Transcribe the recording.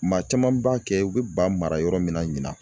Maa caman b'a kɛ u bɛ ba mara yɔrɔ min na ɲina